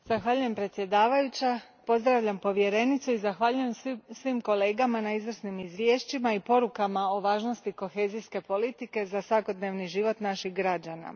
Gospođo predsjedavajuća, pozdravljam povjerenicu i zahvaljujem svim kolegama na izvrsnim izvješćima i porukama o važnosti kohezijske politike za svakodnevni život naših građana.